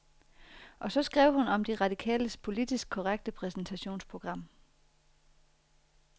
Og så skrev hun om de radikales politisk korrekte præsentationsprogram.